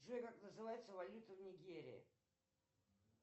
джой как называется валюта в нигерии